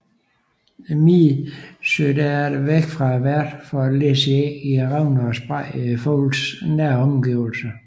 Miden søger derefter væk fra værten for at lægge æg i revner og sprækker i fuglens nære omgivelser